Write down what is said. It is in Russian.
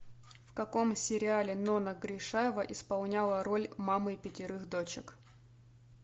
в каком сериале нонна гришаева исполняла роль мамы пятерых дочек